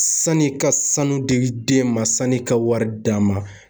Sani i ka sanu di den ma, sani ka wari d'a ma